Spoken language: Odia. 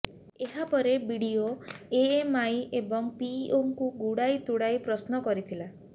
ଏହାପରେ ବିଡିଓ ବିଡିଓ ଏମଆଇ ଏବଂ ପିଇଓଙ୍କୁ ଗୁଡାଇ ତୁଡାଇ ପ୍ରଶ୍ନ କରିଥିଲା